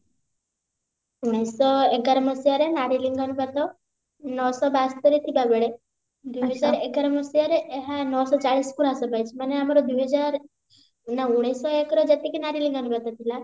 ଉଣେଇଶ ଶହ ଏଗାର ମସିହାରେ ନାରୀ ଲିଙ୍ଗାନୁପାତ ନଅଶହ ବାସ୍ତରି ଥିଲା ବେଳେ ଦୁଇ ହଜାର ଏଗାର ମସିହାରେ ନଅ ଶହ ଚାଳିଶ ପୁରା ହ୍ରାସ ପାଇଛି ମାନେ ଆମର ଦୁଇ ହଜାର ନା ଉଣେଇଶ ଶହ ଏକ ରେ ଯେତିକି ନାରୀ ଲିଙ୍ଗାନୁପାତ ଥିଲା